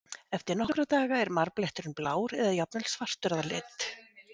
Eftir nokkra daga er marbletturinn blár eða jafnvel svartur að lit.